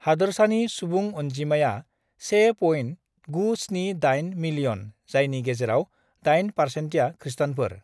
हादोरसानि सुबुं अनजिमाया से पइन्ट (point) uhh गु uhh स्नि ओइथ (eight) मिलियन (million) जायनि गेजेराव uhh डाइन पारसेन्टया खृष्टानफोर